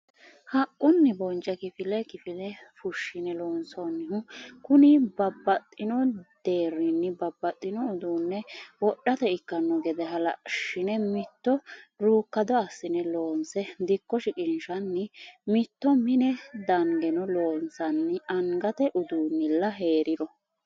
Haqquni bonce kifile kifile fushshine loonsannihu kuni babbaxxino deerinni babbaxxino uduune wodhate ikkano gede halashine mitto rukkado assine loonse dikko shiqqinshanni mitto mine dangeno loonsanni angate uduunilla heeriro.